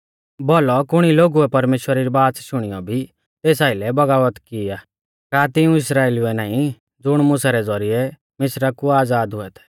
भौलौ कुणी लोगुऐ परमेश्‍वरा री बाच़ शुणियौ भी तेस आइलै बगावत की आ का तिऊं इस्राइलिउऐ नाईं ज़ुण मुसा रै ज़ौरिऐ मिस्रा कु आज़ाद हुऐ थै